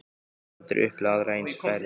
Ég hef aldrei upplifað aðra eins ferð.